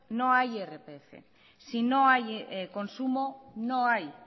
no hay irpf si no hay consumo no hay